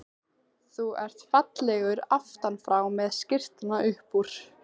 Þú ert fallegur aftan frá með skyrtuna upp úr.